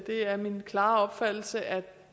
er min klare opfattelse at